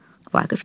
Vaqif gəlir.